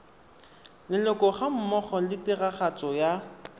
leloko gammogo le tiragatso ya